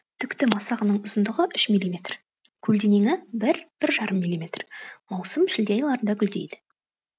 түкті масағының ұзындығы үш миллиметр көлденеңі бір бір жарым миллиметр маусым шілде айларында гүлдейді